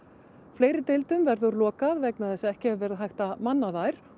fleiri deildum verður lokað vegna þess að ekki hefur verið hægt að manna þær